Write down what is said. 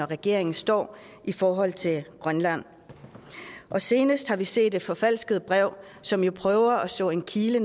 regeringen står i forhold til grønland senest har vi set et forfalsket brev som prøver slå en kile